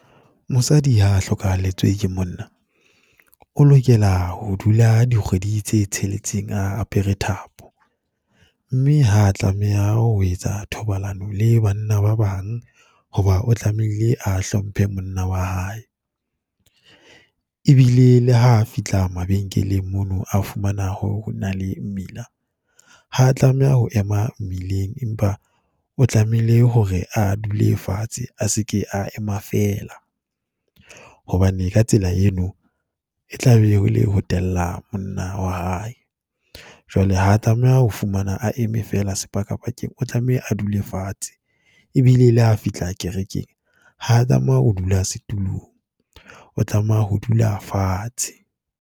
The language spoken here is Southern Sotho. Mosadi ha a hlokahalletswe ke monna, o lokela ho dula dikgwedi tse tsheletseng a apere thapo. Mme ha a tlameha ho etsa thobalano le banna ba bang, ho ba o tlamehile a hlomphe monna wa hae. E bile le ha a fihla mabenkeleng mono a fumana hore ho na le mmila, ha a tlameha ho ema mmileng, empa o tlamehile hore a dule fatshe, a se ke a ema fela. Hobane ka tsela eno, e tla be e le ho tella monna wa hae. Jwale ha tlameha ho fumana a eme fela sepakapakeng, o tlameha a dule fatshe. E bile le ha a fihla kerekeng, ha a tlameha ho dula setulong, o tlameha ho dula fatshe.